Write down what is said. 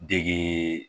Dege